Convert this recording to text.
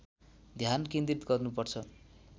ध्यान केन्द्रित गर्नुपर्छ